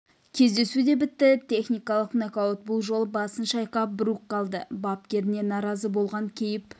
кездесу де бітті техникалық нокаут бұл жолы басын шайқап брук қалды бапкеріне наразы болған кейіп